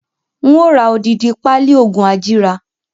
Ń ó ra odidi pali oògùn ajíra